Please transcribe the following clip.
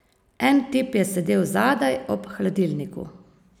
En tip je sedel zadaj, ob hladilniku.